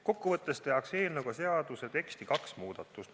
Kokkuvõttes tehakse eelnõu kohaselt seaduse teksti kaks muudatust.